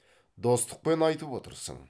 достықпен айтып отырсың